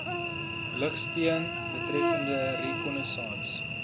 lugsteun betreffende reconnaissance